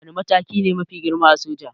Wane mataki ne mafi girma a soja?